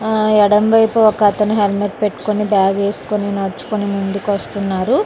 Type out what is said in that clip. ఆ ఎడమవైపు ఒక అతను హెల్మెట్ పెట్టుకొని బ్యాగేసుకుని నడుచుకుంటూ ముందుకు వస్తున్నారు.